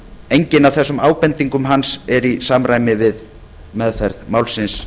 engin af þessum ábendingum hans er í samræmi við meðferð málsins